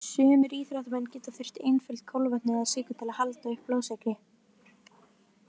Sumir íþróttamenn geta þurft einföld kolvetni eða sykur til að halda uppi blóðsykri.